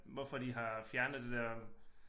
Hvorfor de har fjernet det der